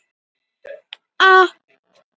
Um kaldlyndi mitt og harðýðgi.